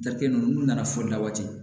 Dakɛ ninnu n'u nana foli la waati